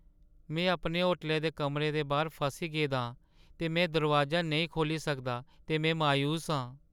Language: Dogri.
में अपने होटलै दे कमरे दे बाह्‌र फसी गेदा आं ते में दरोआजा नेईं खोह्‌ल्ली सकदा ते में मायूस आं।